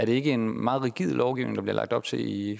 ikke en meget rigid lovgivning der bliver lagt op til i